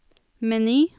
meny